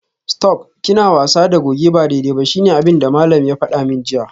Stop!, kina wasa da goje ba daidai ba shine abinda malam ya fada min jiya